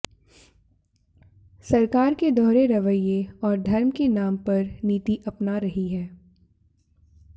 सरकार के दोहरे रवैये और धर्म के नाम पर नीति अपना रही है